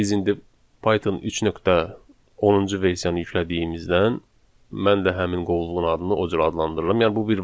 Biz indi Python 3.10-cu versiyanı yüklədiyimizdən mən də həmin qovluğun adını o cür adlandırıram.